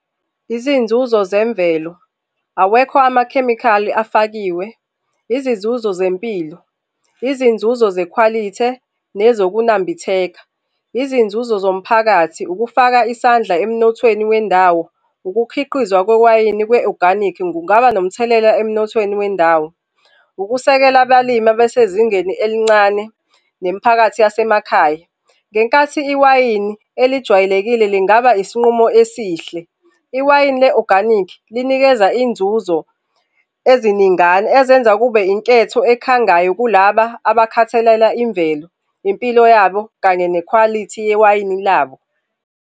Izinzuzo zemvelo, awekho amakhemikhali afakiwe. Izinzuzo zempilo, izinzuzo zekhwalithe, nezokunambitheka. Izinzuzo zomphakathi, ukufaka isandla emnothweni wendawo, ukukhiqizwa kwewayini kwe-oganikhi kungaba nomthelela emnothweni wendawo. Ukusekela abalimi abesezingeni elincane nemiphakathi yasemakhaya. Ngenkathi iwayini elijwayelekile lingaba isinqumo esihle, iwayini le-oganikhi linikeza inzuzo eziningana ezenza kube inketho ekhangayo kulaba abakhathalela imvelo, impilo yabo, kanye nekhwalithi yewayini labo.